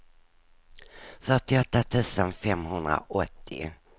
fyrtioåtta tusen femhundraåttio